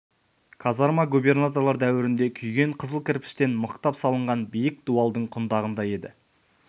казарма губернаторлар дәуірінде күйген қызыл кірпіштен мықтап салынған биік дуалдың құндағында еді